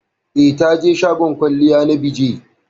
Eh, taje shagon kwalliya na BeeJay